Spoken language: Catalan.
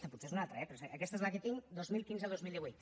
potser és una altra eh però aquesta és la que tinc dos mil quinze dos mil divuit